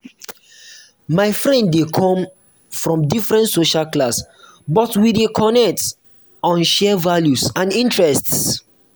my friend dey um come um from different social class but we dey connect on shared values and interests.